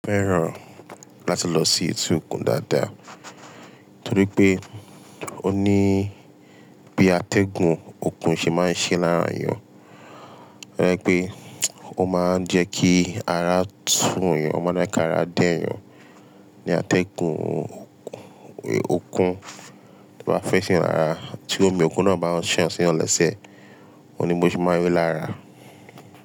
Mó feràn láti lọ sí èti òkun dáadáa, torí pé ó ní bí atẹ́gùn òkun ṣe máa ń ṣe lára èèyàn. To je pé ó máa ń jẹ ki ara tún èèyàn, ó máa ń jẹ ki ara dẹ́ èèyàn. Ni atẹ́gùn òkun, bí wọ́n bá fẹ́ ṣiyàn lara tí omi òkun náà bá n ṣàn síyan lẹ́sẹ̀, o ní bó ṣe máa rí lára.